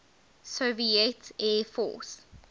soviet air force